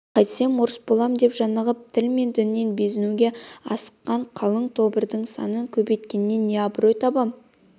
қайтсем орыс болам деп жанығып тіл мен діннен безінуге асыққан қалың тобырдың санын көбейткенінен не аброй табам